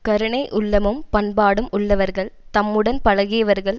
கருணை உள்ளமும் பண்பாடும் உள்ளவர்கள் தம்முடன் பழகியவர்கள்